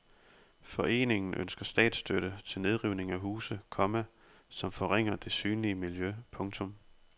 Foreningen ønsker statsstøtte til nedrivning af huse, komma som forringer det synlige miljø. punktum